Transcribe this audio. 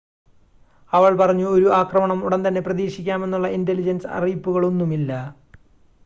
"അവള്‍ പറഞ്ഞു "ഒരു ആക്രമണം ഉടന്‍തന്നെ പ്രതീക്ഷിക്കാമെന്നുള്ള ഇന്‍റലിജന്‍സ് അറിയിപ്പുകളൊന്നുമില്ല.